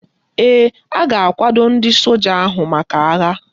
Ee, a ga-akwado ndị soja ahụ maka agha